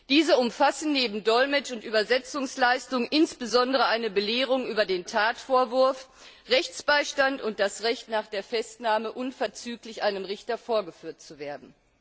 Diese umfassen neben Dolmetsch und Übersetzungsleistungen insbesondere eine Belehrung über den Tatvorwurf, Rechtsbeistand und das Recht, nach der Festnahme unverzüglich einem Richter vorgeführt zu werden.